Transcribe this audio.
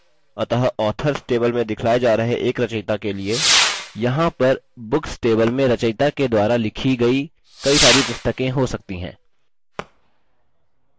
अतः authors table में दिखलाये जा रहे एक रचयिता के लिए यहाँ पर books table में रचयिता के द्वारा लिखी गयी काई सारी पुस्तकें हो सकती हैं